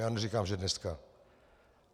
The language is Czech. Já neříkám že dneska.